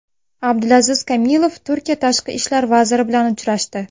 Abdulaziz Kamilov Turkiya tashqi ishlar vaziri bilan uchrashdi.